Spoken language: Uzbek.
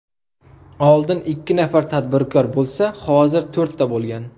Oldin ikki nafar tadbirkor bo‘lsa, hozir to‘rtta bo‘lgan.